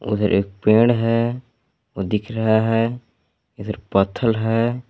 उधर एक पेड़ है वो दिख रहा है इधर पत्थल है।